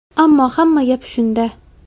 Ammo hamma gap shunda.